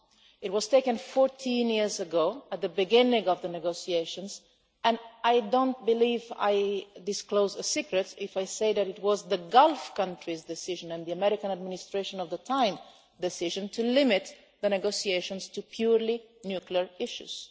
It was taken 14 years ago at the beginning of the negotiations, and I don't believe I disclose a secret if I say that it was the decision of the Gulf countries and the American administration at the time to limit the negotiations to purely nuclear issues.